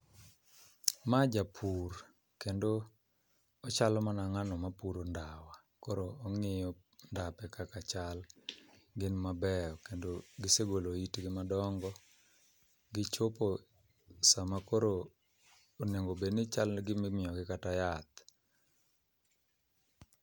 Ma japur, kendo ochalo mana ngáno mapuro ndawa, koro ongíyo ndape kaka chal. Gin maber, kendo gisegolo it gi madongo, gichopo sama koro onego bed ni chal gima imiyo gi kata yath.